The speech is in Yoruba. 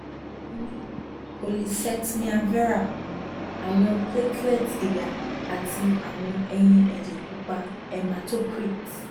mo ni polycythemia vera awọn platelets giga ati awọn eyin ẹjẹ pupa hematocrit